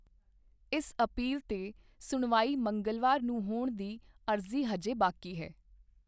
ਇਸ ਅਪੀਲ 'ਤੇ ਸੁਣਵਾਈ ਮੰਗਲਵਾਰ ਨੂੰ ਹੋਣ ਦੀ ਅਰਜ਼ੀ ਹਜੇ ਬਾਕੀ ਹੈ।